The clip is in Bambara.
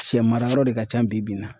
Sɛ mara yɔrɔ de ka can bibi in na